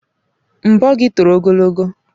Nbọ gị toro ogologo.